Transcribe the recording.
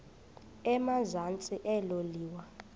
emazantsi elo liwa